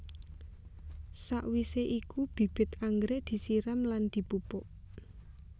Sakwisé iku bibit anggrèk disirami lan dipupuk